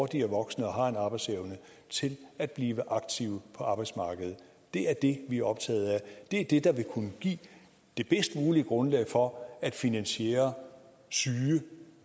de er voksne og har en arbejdsevne til at blive aktive på arbejdsmarkedet det er det vi er optaget af og det er det der vil kunne give det bedst mulige grundlag for at finansiere syge